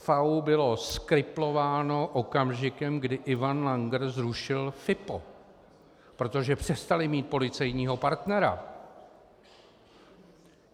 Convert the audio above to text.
FAÚ byl zkriplován okamžikem, kdy Ivan Langer zrušil FIPO, protože přestali mít policejního partnera.